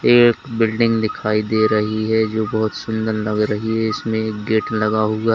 एक बिल्डिंग दिखाई दे रही है जो बहोत सुंदर लग रही है इसमें गेट लगा हुआ--